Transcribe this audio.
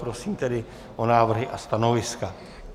Prosím tedy o návrhy a stanoviska.